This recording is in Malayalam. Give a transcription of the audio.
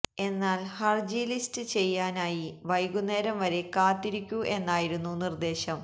എന്നാൽ ഹർജി ലിസ്റ്റ് ചെയ്യാനായി വൈകുന്നേരം വരെ കാത്തിരിക്കൂ എന്നായിരുന്നു നിർദേശം